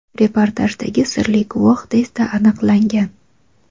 reportajdagi sirli guvoh tezda aniqlangan.